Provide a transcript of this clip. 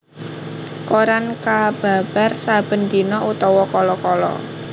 Koran kababar saben dina utawa kala kala